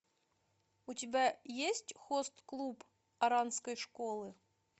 у тебя есть хост клуб оранской школы